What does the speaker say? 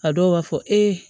A dɔw b'a fɔ e